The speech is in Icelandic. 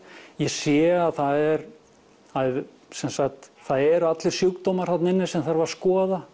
ég sé að það er sem sagt það eru allir sjúkdómar þarna inni sem þarf að skoða